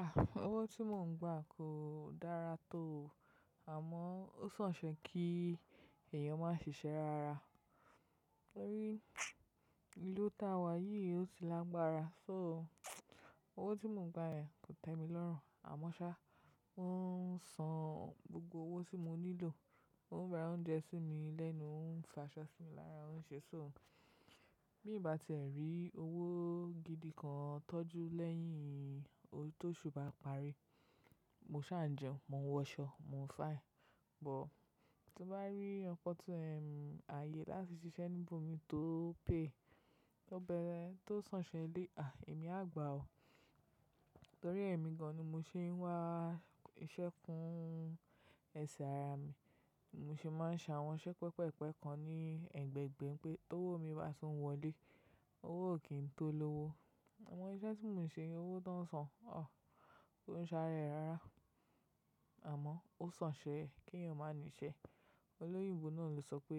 Ah! Owó tí mò ń gba kò dára tó o, àmọ́ ó sàn ṣe kí èèyàn má sìíṣẹ́ rara. Torí ilu táa wà yìí ó ti lágbára. So owó tí mò ń gba yẹn kò tẹ́ mi lọ́rùn. Àmọ́ ṣá, wọn ń san gbogbo owó tí mo nílò, on ń ra oúnjẹ sí mi lẹ́nu, on ń fi aṣọ sí mi lára, wọ́n ń ṣoṣo. Bí n'bá ti ẹ rí owó gidi kan tọ́jú lẹ́yìn o tóṣù bá parí, mo sáà n jẹun, mo ń wọṣọ, mo ń fáẹn. Bọ̀, tí mo bá rí ọkọ̀ tó ń rìn ààyè láti ṣiṣẹ́ níbò mi tó pé, tó bẹ̀rẹ̀, tó sàn ṣe lé, àí, èmi a gbà ọ́. Torí èmi gan-an ni mo ṣe ń wá iṣẹ́ kún ẹsẹ̀ ara mi. Mo sì máa ń ṣàwọn iṣẹ́ pẹpẹ́-pẹpẹ́ kan ní ẹ̀gbẹ̀ẹ̀gbẹ̀ pé t'ówò mí bá tun wọlé, owó ò kí n tó lówó. Àmọ́ iṣẹ́ tí mò ń ṣe, owó tán sàn, òh, kó ń sa'ra ẹ́ rara. Àmọ́ ó sàn ṣe kí èèyàn má níṣẹ́. Olóyìnbo náà ló sọ pé